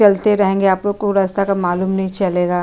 चलते रहेगे आप लोगों को रास्ता का मालूम नहीं चलेगा।